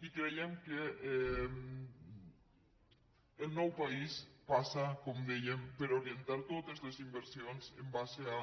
i creiem que el nou país passa com dèiem per orientar totes les inversions en base a